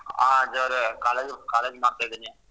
ಹಾ ಅಜಯ್ ಅವ್ರೆ college college ಮಾಡ್ತಿದೀನಿ.